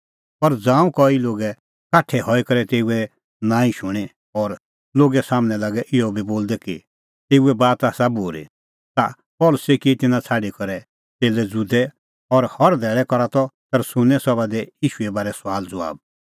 पर ज़ांऊं कई लोगै काठै हई करै तेऊए नांईं शूणीं और लोगै सम्हनै लागै इहअ बी बोलदै कि एऊए बात आसा बूरी ता पल़सी किऐ तिन्नां छ़ाडी करै च़ेल्लै ज़ुदै और हर धैल़ै करा त तरन्नुसे सभा दी ईशूए बारै सुआलज़बाब